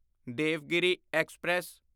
Devagiri express